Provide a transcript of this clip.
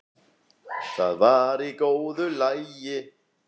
Það var í góðu lagi.